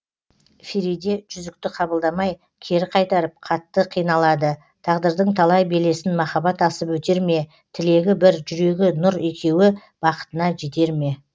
фериде жүзікті қабылдамай кері қайтарып қатты қиналады тағдырдың талай белесін махаббат асып өтер ме тілегі бір жүрегі нұр екеуі бақытына жетер ме